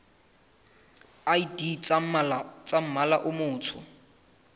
id tsa mmala o motsho